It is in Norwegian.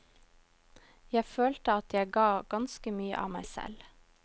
Jeg følte at jeg ga ganske mye av meg selv.